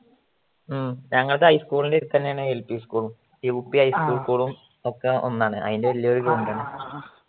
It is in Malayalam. ഉം ഞങ്ങളുടെ LP school ൻറ്റെ അടുത്ത് തന്നെയാണ് high school ഉം UP യും high school ഉം ഒക്കെ ഒന്നാണ് അതിൻറ്റെ വലിയൊരു ground ആണ്